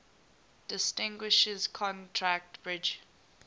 distinguishes contract bridge